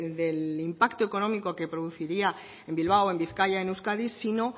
del impacto económico que produciría en bilbao en bizkaia en euskadi sino